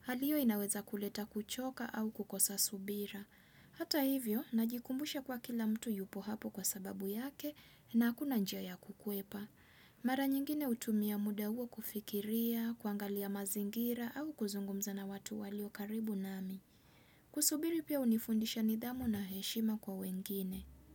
Hali hiyo inaweza kuleta kuchoka au kukosa subira. Hata hivyo, najikumbusha kwa kila mtu yupo hapo kwa sababu yake na hakuna njiaya kukuepa. Mara nyingine hutumia muda huo kufikiria, kuangalia mazingira au kuzungumza na watu walio karibu nami. Kusubiri pia hunifundisha nidhamu na heshima kwa wengine.